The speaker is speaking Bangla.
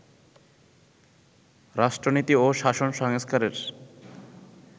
রাষ্ট্রনীতি ও শাসন সংস্কারের